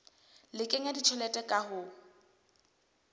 le kenya tjhelete ka ho